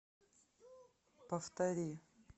повтори